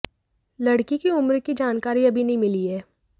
लडकी की उम्र की जानकारी अभी नहीं मिली है